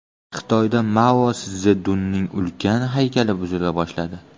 Xitoyda Mao Szedunning ulkan haykali buzila boshladi.